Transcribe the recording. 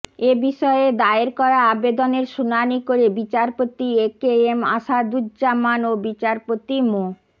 এ বিষয়ে দায়ের করা আবেদনের শুনানি করে বিচারপতি একেএম আসাদুজ্জামান ও বিচারপতি মো